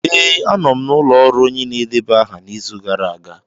Ee, anọ m n'ụlọ ọrụ onye na-edeba aha n'izu gara aga.